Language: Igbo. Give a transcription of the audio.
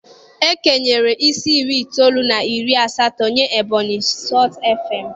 E kenyere isi iri itoolu na iri asatọ nyee Ebonyi Sọltụ FM.